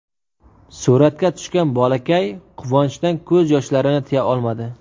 Suratga tushgan bolakay quvonchdan ko‘z yoshlarini tiya olmadi.